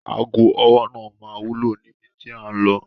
Aago ọwọ́ náà máa wúlò níbi tí à ń lọ.